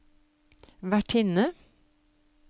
vertinne